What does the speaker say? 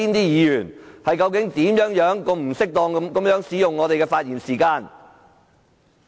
議員究竟如何不適當地使用他們的發言時間呢？